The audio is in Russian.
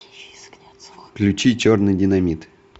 включи черный динамит